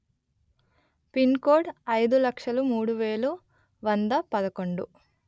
pin code అయిదు లక్షలు మూడు వెలు వంద పదకొండు